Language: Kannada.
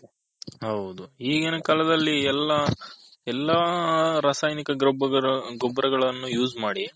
ಹೌದು ಈಗಿನ ಕಾಲದಲ್ಲಿ ಎಲ್ಲಾ ರಾಸಾಯನಿಕ ಗೊಬ್ಬರಗಳನ್ನು use ಮಾಡಿ